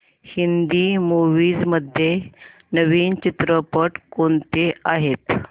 Hindi movies मध्ये नवीन चित्रपट कोणते आहेत